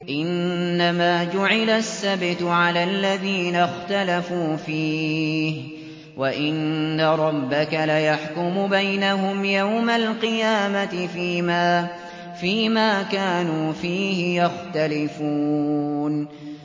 إِنَّمَا جُعِلَ السَّبْتُ عَلَى الَّذِينَ اخْتَلَفُوا فِيهِ ۚ وَإِنَّ رَبَّكَ لَيَحْكُمُ بَيْنَهُمْ يَوْمَ الْقِيَامَةِ فِيمَا كَانُوا فِيهِ يَخْتَلِفُونَ